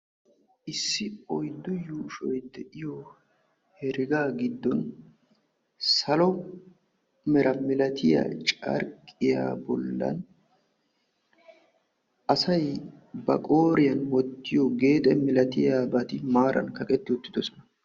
Issi oyddu yuushshoy de'iyo heragga giddon salo mera milatiyaa carqqiya bollan asay ba qooriyaan wottiyo geexxe malatiyaabati maaran kaqqeti uttidoosona.